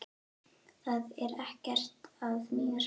Það er ekkert að mér.